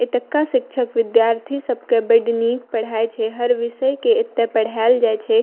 ए तौका शिक्षक-विद्यार्थी सब के बड नीक पढ़ाई छै हर विषय के एता पढाल जाय छै।